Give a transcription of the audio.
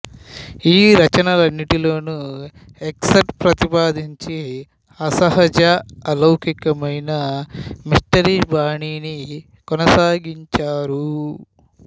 ఈ రచనలన్నింటిలోనూ ఎకర్ట్ ప్రతిపాదించి అసహజ అలౌకికమైన మిస్టరీ బాణీని కొనసాగించారు